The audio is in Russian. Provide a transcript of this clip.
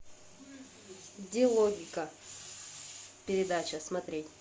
где логика передача смотреть